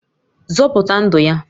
Zọpụta ndụ ya!